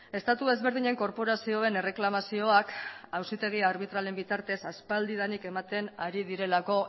estatu ezberdinen korporazioen erreklamazioak auzitegi arbitralen bitartez aspaldidanik ematen ari direlako